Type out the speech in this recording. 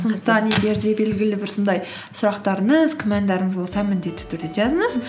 сондықтан егер де белгілі бір сондай сұрақтарыңыз күмәндарыңыз болса міндетті түрде жазыңыз